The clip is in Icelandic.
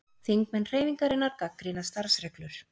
Þingmenn Hreyfingarinnar gagnrýna starfsreglur